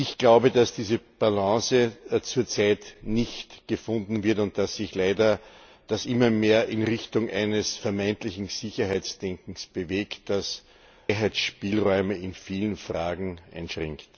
Ich glaube, dass diese Balance zurzeit nicht gefunden wird und dass sich das leider immer mehr in Richtung eines vermeintlichen Sicherheitsdenkens bewegt, das Freiheitsspielräume in vielen Fragen einschränkt.